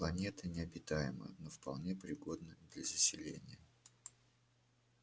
планета необитаема но вполне пригодна для заселения